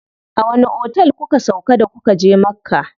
A wani otel kuka sauƙa da kuka je Makka?